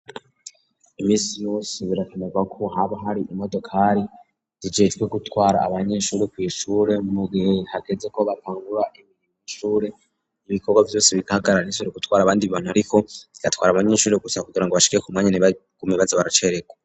Imisi yose birakenerwako hama hari imodokari zijejwe gutwara abanyeshuri kw'ishure mu gihe hageze ko batangura kw'ishure ibikorwa vyose bigahagarar ntizisubire gutwara abandi bantu ariko zigatwara abanyeshuri gusa kugira ngo bashikeyo ku mwanya ntibagume baza baracererwa.